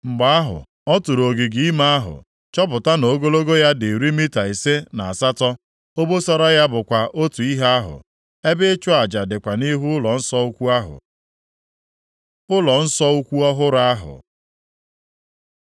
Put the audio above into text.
Mgbe ahụ, ọ tụrụ ogige ime ahụ, chọpụta na ogologo ya dị iri mita ise na asatọ. Obosara ya bụkwa otu ihe ahụ. Ebe ịchụ aja dịkwa nʼihu ụlọnsọ ukwu ahụ. Ụlọnsọ ukwu ọhụrụ ahụ